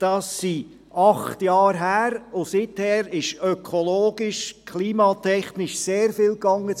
Das ist acht Jahre her, und seither ist ökologisch, klimatechnisch sehr viel gelaufen.